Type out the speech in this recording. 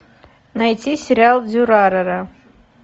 найти сериал дюрарара